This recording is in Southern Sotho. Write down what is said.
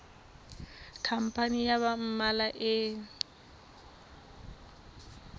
khampani ya ba mmalwa e